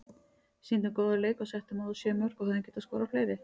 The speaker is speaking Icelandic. Sýndum góðan leik og settum á þá sjö mörk og hefðum getað skorað fleiri.